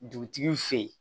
Dugutigi fe ye